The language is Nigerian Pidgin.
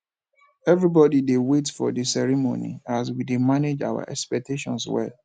everybody dey wait for the ceremony as we dey manage our expectations well